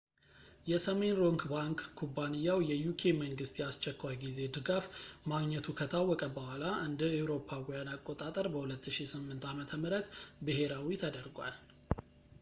የሰሜን ሮክ ባንክ ኩባንያው የuk መንግሥት የአስቸኳይ ጊዜ ድጋፍ ማግኘቱ ከታወቀ በኋላ እ.ኤ.አ. በ 2008 ዓ.ም ብሄራዊ ተደርጓል